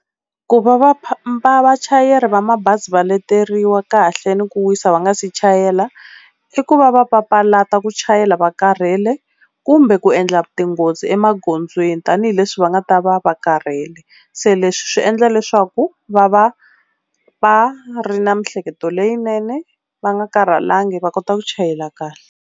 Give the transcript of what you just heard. Ku va va va vachayeri va mabazi va leteriwa kahle ni ku wisa va nga se chayela, i ku va va papalata ku chayela va karhele kumbe ku endla tinghozi magondzweni tanihileswi va nga ta va va karhele. Se leswi swi endla leswaku va va va ri na miehleketo leyinene va nga karhalangi va kota ku chayela kahle.